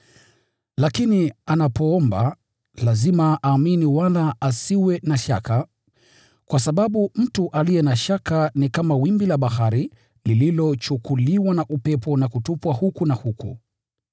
Lakini anapoomba, lazima aamini wala asiwe na shaka, kwa sababu mtu aliye na shaka ni kama wimbi la bahari, lililochukuliwa na upepo na kutupwa huku na huku.